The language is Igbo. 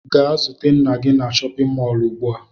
Gaa zute nna gi na chọpịn mọọlụ ugbua!